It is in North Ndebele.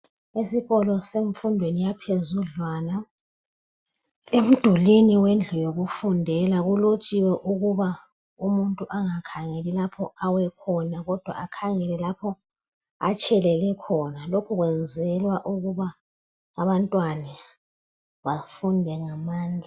Esikolo semfundweni yaphezudlwana. Emdulwini wendlu yokufundela kulotshiwe ukuba umuntu angakhangeli lapho awe khona kodwa akhangele lapho atshelele khona. Lokhu kwenzelwa ukuba abantwana bafunde ngamandla.